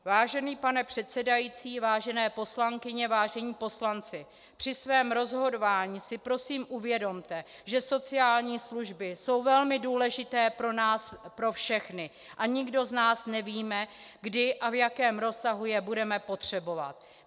Vážený pane předsedající, vážené poslankyně, vážení poslanci, při svém rozhodování si prosím uvědomte, že sociální služby jsou velmi důležité pro nás pro všechny a nikdo z nás nevíme, kdy a v jakém rozsahu je budeme potřebovat.